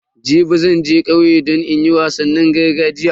Jibi zan je kauye don in koyo wasannin gargajiya.